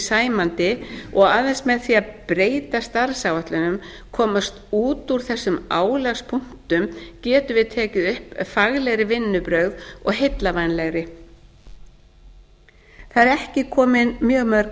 sæmandi og aðeins með því að breyta starfsáætlunum komast út úr þessum álagspunktum getum við tekið upp faglegri vinnubrögð og heillavænlegri það eru ekki komin mjög mörg